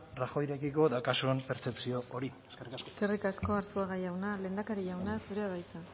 rajoyrekiko daukazun pertzepzio hori eskerrik asko eskerrik asko arzuaga jauna lehendakari jauna zurea da hitza